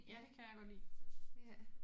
Ja det kan jeg godt lide